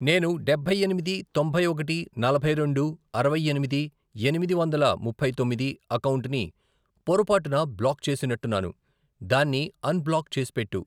నేను డబ్బై ఎనిమిది, తొంభై ఒకటి, నలభై రెండు, అరవై ఎనిమిది, ఎనిమిది వందల ముప్పై తొమ్మిది, అకౌంటుని పొరపాటున బ్లాక్ చేసినట్టున్నాను, దాన్ని అన్ బ్లాక్ చేసిపెట్టు.